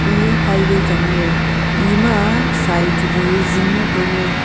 ee high way changley ema sai chu wai zingley tailey.